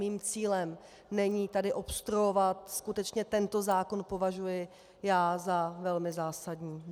Mým cílem není tedy obstruovat, skutečně tento zákon považuji já za velmi zásadní.